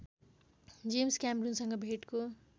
James कैमरूनसँग भेटको